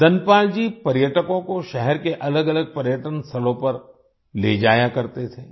धनपाल जी पर्यटकों को शहर के अलगअलग पर्यटन स्थलों पर ले जाया करते थे